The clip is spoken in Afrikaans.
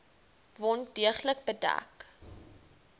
wond deeglik bedek